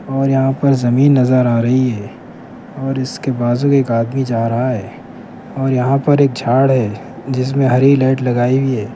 اور یہاں پر زمین نظر ارہی ہے اور اس کے بازو کے ایک ادمی جا رہا ہے اور یہاں پر ایک جھاڑ ہے جس میں ہری لائٹ.